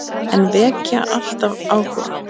En vekja alltaf áhuga.